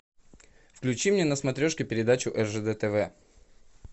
включи мне на смотрешке передачу ржд тв